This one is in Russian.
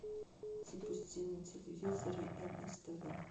запусти на телевизоре нств